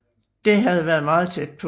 Det havde været meget tæt på